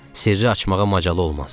Sirri açmağa macalı olmaz.